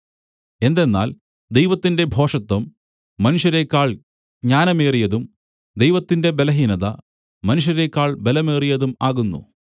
എന്തെന്നാൽ ദൈവത്തിന്റെ ഭോഷത്തം മനുഷ്യരേക്കാൾ ജ്ഞാനമേറിയതും ദൈവത്തിന്റെ ബലഹീനത മനുഷ്യരേക്കാൾ ബലമേറിയതും ആകുന്നു